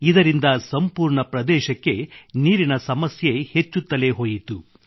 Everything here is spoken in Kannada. ಇದರಿಂದ ಸಂಪೂರ್ಣ ಪ್ರದೇಶಕ್ಕೆ ನೀರಿನ ಸಮಸ್ಯೆ ಹೆಚ್ಚುತ್ತಲೇ ಹೋಯಿತು